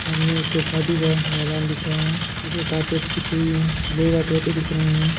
ये एक शादी का मैदान दिख रहा है जिसमें कार्पेटस बिछी हुई है लोग आते -जाते दिख रहे है।